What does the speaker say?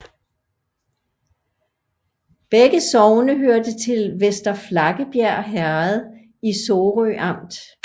Begge sogne hørte til Vester Flakkebjerg Herred i Sorø Amt